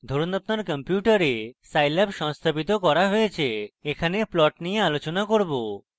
ধরুন আপনার কম্পিউটারে scilab সংস্থাপিত করা হয়েছে এখানে plots নিয়ে আলোচনা করব